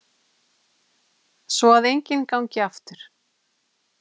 Svo að enginn gangi aftur.